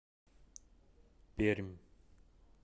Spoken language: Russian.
пермь